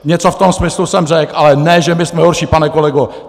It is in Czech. Něco v tom smyslu jsem řekl, ale ne že my jsme horší, pane kolego.